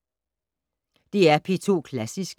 DR P2 Klassisk